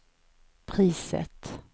priset